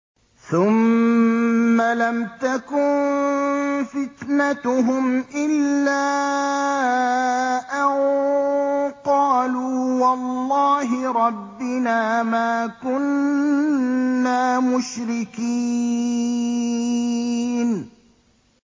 ثُمَّ لَمْ تَكُن فِتْنَتُهُمْ إِلَّا أَن قَالُوا وَاللَّهِ رَبِّنَا مَا كُنَّا مُشْرِكِينَ